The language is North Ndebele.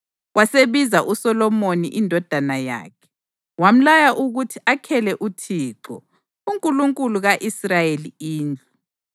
Wasebiza uSolomoni indodana yakhe, wamlaya ukuthi akhele uThixo, uNkulunkulu ka-Israyeli indlu.